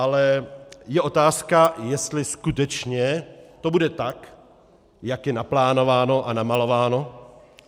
Ale je otázka, jestli skutečně to bude tak, jak je naplánováno a namalováno.